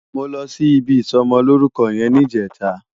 Mó lòsí ibi isòmòlórúkò yèn nijètá